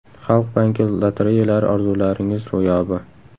Xalq banki lotereyalari orzularingiz ro‘yobi!